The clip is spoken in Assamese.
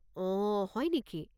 অঁ, হয় নেকি?